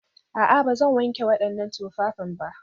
A'a, ba zan wanke waɗannan tufafin ba